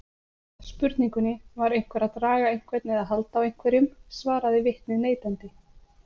Spurningunni Var einhver að draga einhvern eða halda á einhverjum? svaraði vitnið neitandi.